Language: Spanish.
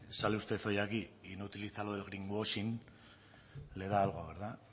sale usted hoy aquí y no utiliza lo del greenwashing le da algo verdad